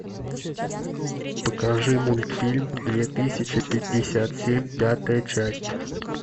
покажи мультфильм две тысячи пятьдесят семь пятая часть